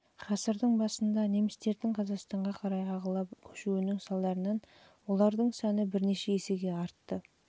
ғасырдың басында немістердің қазақстанға қарай ағыла көшуінің салдарынан олардың саны бірнеше есеге артты